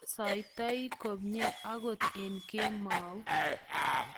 asaitoi kumye akot eng kemou